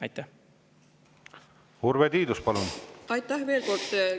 Aitäh veel kord!